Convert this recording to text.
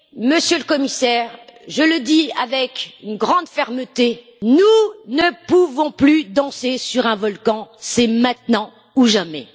Monsieur le Commissaire, je le dis avec une grande fermeté nous ne pouvons plus danser sur un volcan, c'est maintenant ou jamais.